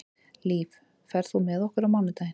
Líf, ferð þú með okkur á mánudaginn?